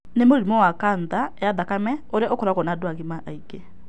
Nĩ mũrimũ wa kanca ya thakame ũrĩa ũkoragũo na andũ agima aingĩ.